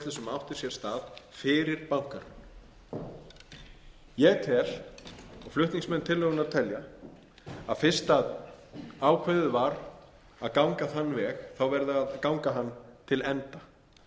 sér stað fyrir bankahrun ég tel og flutningsmenn tillögunnar telja að fyrst ákveðið var að ganga þann veg þá verði að ganga hann til enda